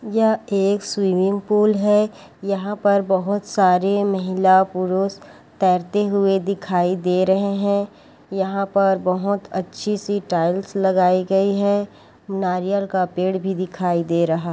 यह एक swimming pool है यहाँ पर बहुत सारे महिला पुरुष तैरते हुए दिखाई दे रहे है यहाँ पर बहुत अच्छी से टाइल्स लगाई गयी है नारियल का पेड़ भी दिखाई दे रहा है।